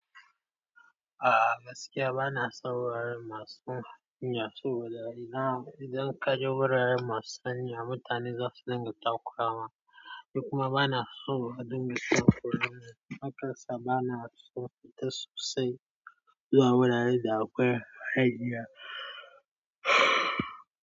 A'a gaskiya bana son wuraren masu hanya saboda idan kaje wuraren masu hanya mutane zasu dinga takura ma, ni kuma bana so a dinga takuramin hakka sa bana so fita sosai zuwa wuraren da akwai haya.